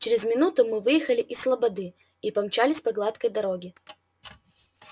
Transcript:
через минуту мы выехали из слободы и помчались по гладкой дороге